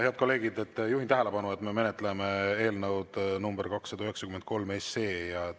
Head kolleegid, juhin tähelepanu, et me menetleme eelnõu nr 293.